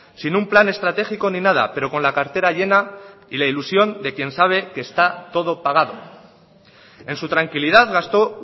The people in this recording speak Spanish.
sin un plan estratégico ni nada pero con la cartera llena y la ilusión de quien sabe que está todo pagado en su tranquilidad gastó